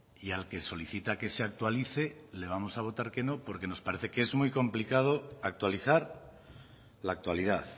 y al que solicita que se actualice le vamos a votar que no porque nos parece que es muy complicado actualizar la actualidad